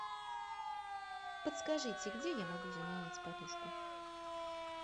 подскажите где я могу заменить подушку